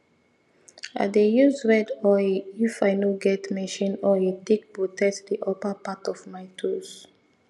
i dey use red oil if i no get machine oil take protect the upper part of my tools